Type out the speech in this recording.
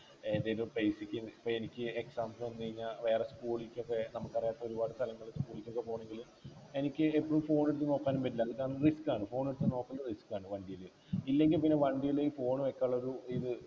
ഏതായാലും place ക്ക് ഇപ്പൊ എനിക്ക് exams വന്ന് കഴിഞ്ഞ വേറെ school ക്കൊക്കെ നമുക്കറിയാത്ത ഒരുപാട് സ്ഥലങ്ങളിലൊക്കെ പോയിട്ട് പോണെങ്കില് എനിക്ക് എപ്പോളും phone എടുത്ത് നോക്കാനും പറ്റില്ല അതാവുമ്പോ risk ആണ് phone എടുത്ത് നോക്കണ്ട risk ആണ് വണ്ടിയില് ഇല്ലെങ്കി പിന്നെ വണ്ടില് ഈ phone വെക്കാനുള്ള ഒരു ഇത്